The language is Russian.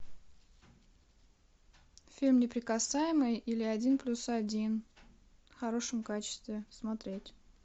фильм неприкасаемый или один плюс один в хорошем качестве смотреть